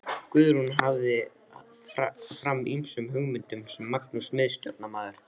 Guðrún hafði varpað fram ýmsum hugmyndum sem Magnús miðstjórnarmaður